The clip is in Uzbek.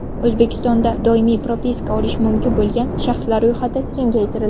O‘zbekistonda doimiy propiska olishi mumkin bo‘lgan shaxslar ro‘yxati kengaytirildi.